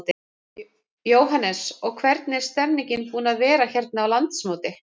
Jóhannes: Og hvernig er stemmningin búin að vera hérna á landsmóti?